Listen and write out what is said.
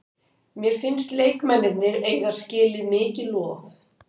Mér finnst leikmennirnir eiga skilið mikið lof.